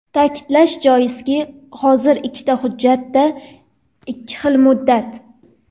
Ta’kidlash joizki, hozir ikkita hujjatda ikki xil muddat.